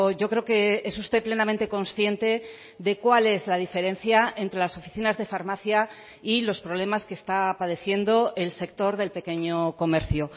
yo creo que es usted plenamente consciente de cuál es la diferencia entre las oficinas de farmacia y los problemas que está padeciendo el sector del pequeño comercio